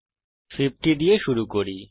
তাই আমরা 50 দিয়ে শুরু করি